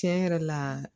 Tiɲɛ yɛrɛ la